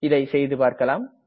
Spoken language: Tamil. இதை செய்துபார்க்கலாம்